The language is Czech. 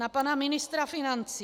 Na pana ministra financí.